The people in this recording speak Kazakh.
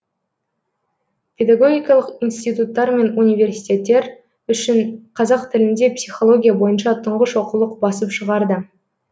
педагогикалық институттар мен университеттер үшін қазақ тілінде психология бойынша тұңғыш оқулық басып шығарды